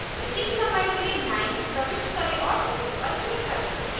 ac की लंबाई के लिए 9 प्रविष्ट करें और ok पर click करें